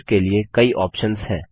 के लिए कई ऑप्शंस हैं